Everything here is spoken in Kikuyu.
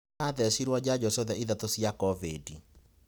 Nĩ athecirwo njanjo ciothe ithatu cia covid.